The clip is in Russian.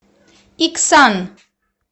иксан